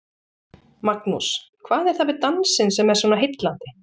Magnús: Hvað er það við dansinn sem er svona heillandi?